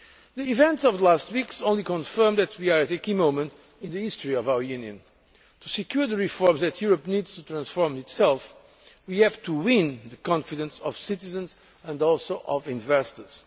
The events of the last weeks only confirm that we are at a key moment in the history of our Union. To secure the reforms that Europe needs to transform itself, we have to win the confidence of our citizens and also of investors.